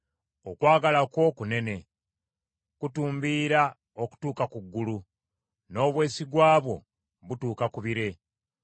Okwagala kwo kunene, kutumbiira okutuuka ku ggulu; n’obwesigwa bwo butuuka ku bire.